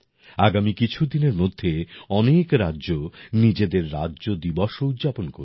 আগামী কিছুদিনের মধ্যে অনেক রাজ্য নিজেদের রাজ্য দিবসও উদযাপন করবে